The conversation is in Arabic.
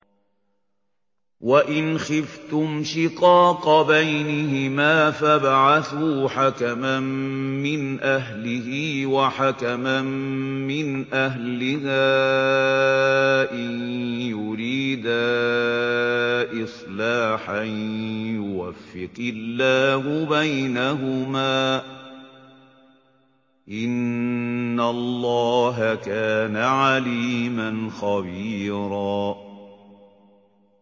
وَإِنْ خِفْتُمْ شِقَاقَ بَيْنِهِمَا فَابْعَثُوا حَكَمًا مِّنْ أَهْلِهِ وَحَكَمًا مِّنْ أَهْلِهَا إِن يُرِيدَا إِصْلَاحًا يُوَفِّقِ اللَّهُ بَيْنَهُمَا ۗ إِنَّ اللَّهَ كَانَ عَلِيمًا خَبِيرًا